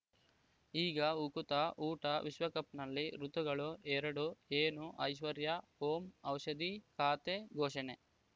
ಈಗ ಉಕುತ ಊಟ ವಿಶ್ವಕಪ್‌ನಲ್ಲಿ ಋತುಗಳು ಎರಡು ಏನು ಐಶ್ವರ್ಯಾ ಓಂ ಔಷಧಿ ಖಾತೆ ಘೋಷಣೆ